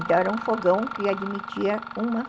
Então era um fogão que admitia uma